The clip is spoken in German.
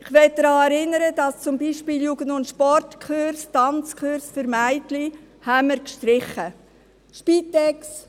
Ich möchte daran erinnern, dass wir zum Beispiel Jugend und Sport-Kurse, Tanzkurse für Mädchen, gestrichen haben.